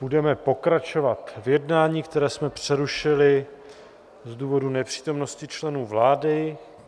Budeme pokračovat v jednání, které jsme přerušili z důvodu nepřítomnosti členů vlády.